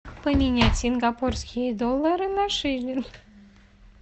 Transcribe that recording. поменять сингапурские доллары на шиллинг